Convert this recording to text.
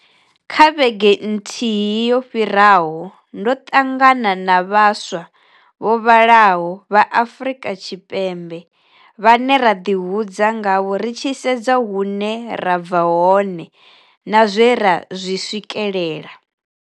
Kha vhege nthihi yo fhiraho ndo ṱangana na vhaswa vho vhalaho vha Afrika Tshipembe vhane ra ḓihudza ngavho ri tshi sedza hune ra bva hone na zwe ra zwi swikela.